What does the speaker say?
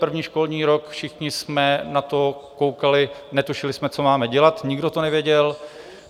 První školní rok, všichni jsme na to koukali, netušili jsme, co máme dělat, nikdo to nevěděl.